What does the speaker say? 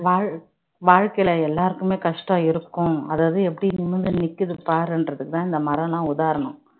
வாழ்~ வாழ்க்கையில எல்லாருக்குமே கஷ்டம் இருக்கும் அதாவது எப்படி நிமிர்ந்து நிக்குது பாருன்றதுக்குதான் இந்த மரம்லாம் உதாரணம்